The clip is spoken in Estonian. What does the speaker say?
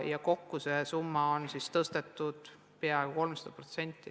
Ja kokku on seda summat tõstetud peaaegu 300%.